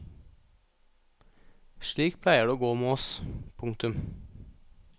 Slik pleier det å gå med oss. punktum